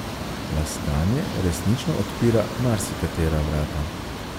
Laskanje resnično odpira marsikatera vrata.